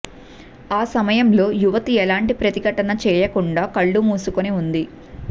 ఆ సమయంలో యువతి ఎలాంటి ప్రతిఘటన చెయ్యకుండా కళ్లు మూసుకుని ఉంది